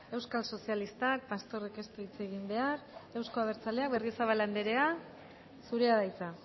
euskal sozialistak pastorrek ez du hitz egin behar euzko abertzaleak berriozabal anderea zurea da hitza